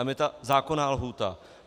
Tam je ta zákonná lhůta.